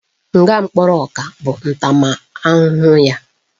Nga mkpụrụ ọka bụ ntaramahụhụ ya